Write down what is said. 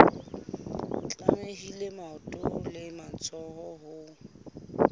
tlamehile maoto le matsoho ho